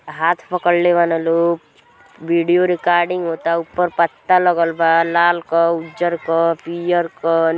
हाथ पकड़ले बा लोग। वीडियो रिकाडिंग होता ऊपर पत्ता लागल बा लाल क उज्जर क पियर क--